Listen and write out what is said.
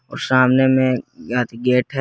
और सामने में गेट है।